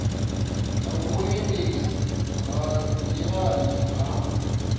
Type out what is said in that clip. ya vhuendisi ha nḓilani ha